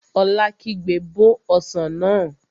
Ola kígbe, Bó ọsàn náà!